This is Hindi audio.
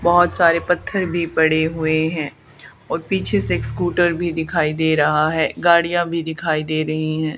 बहोत सारे पत्थर भी पड़े हुए हैं और पीछे से एक स्कूटर भी दिखाई दे रहा है गाड़ियां भी दिखाई दे रही हैं।